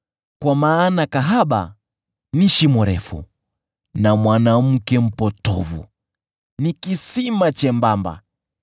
kwa maana kahaba ni shimo refu na mwanamke mpotovu ni kisima chembamba.